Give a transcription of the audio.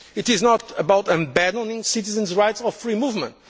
tomorrow. It is not about abandoning citizens' rights of free